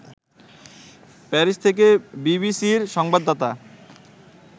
Paris থেকে বিবিসির সংবাদদাতা